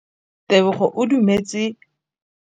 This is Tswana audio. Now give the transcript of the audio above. Tebogô o dumeletse